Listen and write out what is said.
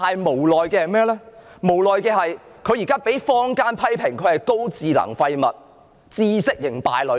無奈的是，他現在卻被坊間批評為"高智能廢物"、"知識型敗類"。